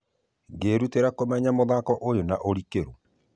Ngĩrutera kũmenya mũthako ũyo na ũrikeru